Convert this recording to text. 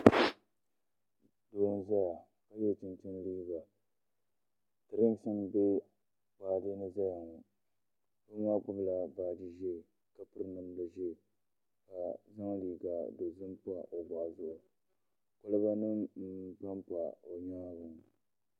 Doo n zaya ka yiɛ chinchini liiga dirinksi n bɛ baaji ni n zaya ŋɔ doo maa gbubi la baaji zɛɛ ka piri namda zɛɛ ka zaŋ liiga dozim pa o bɔɣu zuɣu koliba nim n pam pa o yɛanga ŋɔ.